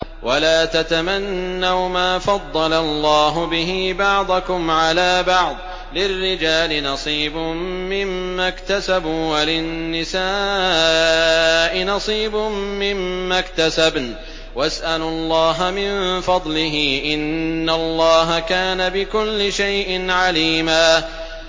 وَلَا تَتَمَنَّوْا مَا فَضَّلَ اللَّهُ بِهِ بَعْضَكُمْ عَلَىٰ بَعْضٍ ۚ لِّلرِّجَالِ نَصِيبٌ مِّمَّا اكْتَسَبُوا ۖ وَلِلنِّسَاءِ نَصِيبٌ مِّمَّا اكْتَسَبْنَ ۚ وَاسْأَلُوا اللَّهَ مِن فَضْلِهِ ۗ إِنَّ اللَّهَ كَانَ بِكُلِّ شَيْءٍ عَلِيمًا